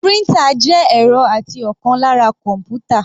Printer jẹ́ ẹ̀rọ àti ọ̀kan lára kọ́npútà.